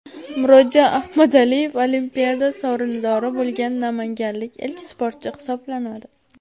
Murodjon Ahmadaliyev Olimpiada sovrindori bo‘lgan namanganlik ilk sportchi hisoblanadi.